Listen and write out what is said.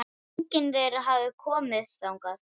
Enginn þeirra hafði komið þangað.